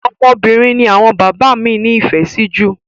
Ọmọbìnrin ni àwọn bàbá mí ní ìfẹ sí jù.